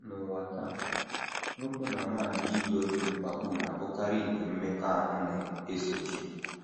N’ụwa taa, nwoke na nwanyị iyi oge mkpapu na - abụkarị nke mmekọahụ na - esochi.